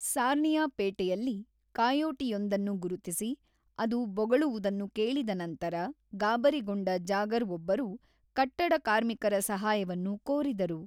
ಸಾರ್ನಿಯಾ ಪೇಟೆಯಲ್ಲಿ ಕಾಯೋಟಿಯೊಂದನ್ನು ಗುರುತಿಸಿ, ಅದು ಬೊಗಳುವುದನ್ನು ಕೇಳಿದ ನಂತರ ಗಾಬರಿಗೊಂಡ ಜಾಗರ್ ಒಬ್ಬರು ಕಟ್ಟಡ ಕಾರ್ಮಿಕರ ಸಹಾಯವನ್ನು ಕೋರಿದರು.